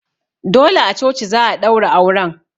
Dole a coci za'a ɗaura auren